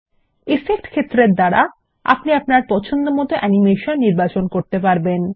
effect ক্ষেত্রের দ্বারা আপনি অ্যানিমেশন নির্বাচন করতে পারেন